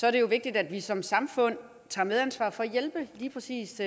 er det jo vigtigt at vi som samfund tager medansvar for at hjælpe lige præcis